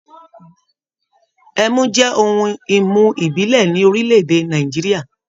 Ẹmu jẹ́ ohun-ìmu ìbílẹ̀ ní orílẹ̀-èdè Nàìjíríà.